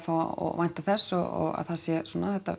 vænta þess og að það sé svona